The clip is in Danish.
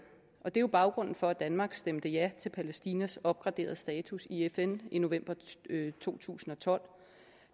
er jo baggrunden for at danmark stemte ja til palæstinas opgraderede status i fn i november to tusind og tolv